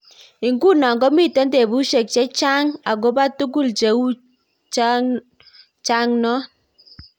Iguno ko miten tepushek cheng chaa'ang akopaa tugul cheu chang non.